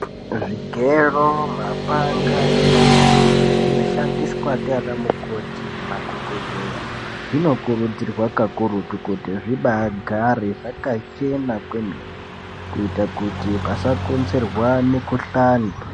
Zvigero mapanga nema naiti zvino shandiswa ndiana mukoti ne madhokodheya zvino kurudzirwa kakurutu kuti zvibai gare zvaka chena kwemene kuita kuti pasa konzerwa mi kuhlani.